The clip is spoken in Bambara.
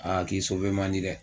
Aa k'i man di dɛ